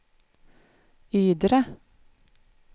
Ydre